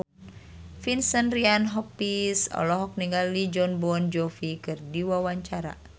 Vincent Ryan Rompies olohok ningali Jon Bon Jovi keur diwawancara